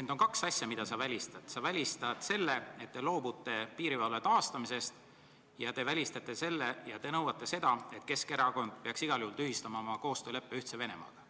ent on kaks asja, mille sa välistad: sa välistad selle, et te loobute piirivalve taastamisest, ja te nõuate seda, et Keskerakond peaks igal juhul tühistama oma koostööleppe Ühtse Venemaaga.